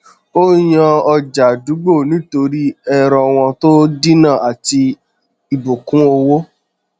ó yàn ọjà àdúgbò nítorí ẹrọ wọn tó dínà àti ibùkún owó